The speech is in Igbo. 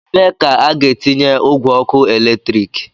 ebe ka a ga-etinye ogwe ọkụ eletrik